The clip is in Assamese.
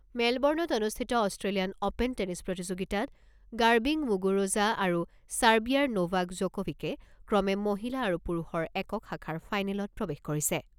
মেলবৰ্ণত অনুষ্ঠিত অস্ট্ৰেলিয়ান অ'পেন টেনিছ প্ৰতিযোগিতাত গাৰ্বিং মুগুৰোজা আৰু চাৰ্বিয়াৰ নোভাক জকোভিকে ক্ৰমে মহিলা আৰু পুৰুষৰ একক শাখাৰ ফাইনেলত প্ৰৱেশ কৰিছে।